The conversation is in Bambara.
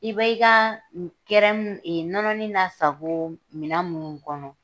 I bɛ i ka nɔnɔnin nasako mina minnu kɔnɔ